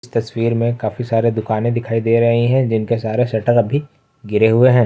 तस्वीर में काफी सारे दुकानें दिखाई दे रहे हैं जिनके सारे शटर अभी गिरे हुए हैं।